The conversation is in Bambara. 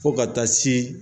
Fo ka taa se